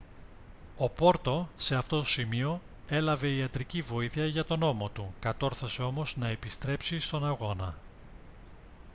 ο porto σε αυτό σημείο έλαβε ιατρική βοήθεια για τον ώμο του κατόρθωσε όμως να επιστρέψει στον αγώνα